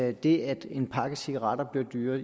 at det at en pakke cigaretter bliver dyrere